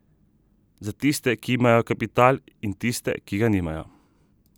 Za tiste, ki imajo kapital, in tiste, ki ga nimajo.